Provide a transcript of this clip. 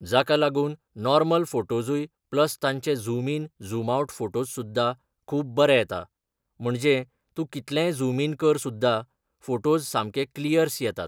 जाका लागून नॉर्मल फोटोजूय प्लस तांचे zoom in zoom out photos सुद्धा खूब बरे येता म्हणजे तूं कितलेंय झूम इन कर सुद्धा फोटोज सामके क्लियर्स येतात